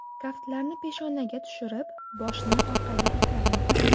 Kaftlarni peshonaga tushirib, boshni orqaga itaring.